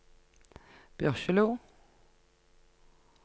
Byrkjelo